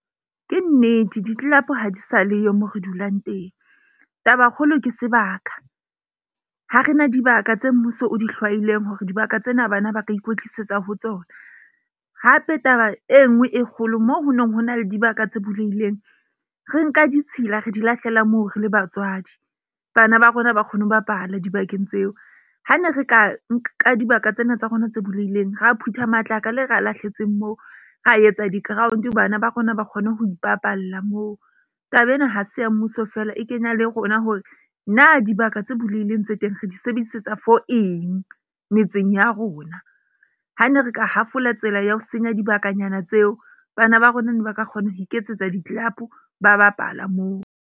Ke nnete di-club ha di sa le yo mo re dulang teng. Taba kgolo ke sebaka ha rena dibaka tse mmuso o di hlwailweng hore dibaka tsena bana ba ka ikwetlisetsa ho tsona, hape taba e nngwe e kgolo moo ho neng ho na le dibaka tse bulehileng. Re nka ditshila, re di lahlela moo re le batswadi. Bana ba rona ba kgone ho bapala dibakeng tseo, ha ne re ka nka dibaka tsena tsa rona tse bulehileng, ra phutha matlakala e re a lahletseng moo ra etsa di-ground bana ba rona ba kgone ho ipapalla moo. Taba ena ha se ya mmuso feela. E kenya le rona hore na dibaka tse bulehileng tse teng. Re di sebedisetsa for eng metseng ya rona. Ha ne re ka hafola tsela ya ho senya dibakanyana tseo. Bana ba rona ne ba ka kgona ho iketsetsa di-club ba bapala moo.